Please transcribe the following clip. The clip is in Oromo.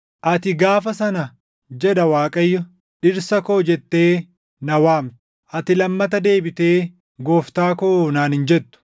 “Ati gaafa sana” jedha Waaqayyo; “ ‘Dhirsa koo’ jettee na waamta; ati lammata deebitee, ‘Gooftaa koo’ naan hin jettu.